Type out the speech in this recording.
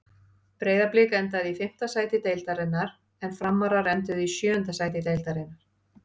Breiðablik endaði í fimmta sæti deildarinnar en Framarar enduðu í sjöunda sæti deildarinnar.